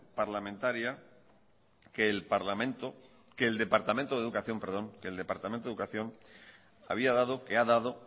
parlamentaria que el departamento de educación había dado que ha dado